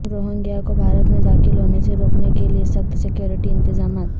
Rohingya کو بھارت میں داخل ہونے سے روکنے کے لیے سخت سکیورٹی انتظامات